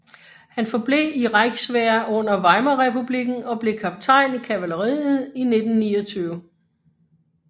Han forblev i Reichswehr under Weimarrepublikken og blev kaptajn i kavalleriet i 1929